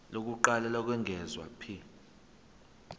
lokuqala lokwengeza p